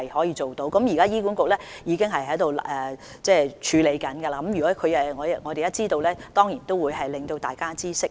現時醫管局已經正在處理，如果我們知道有關詳情，當然會讓大家知悉。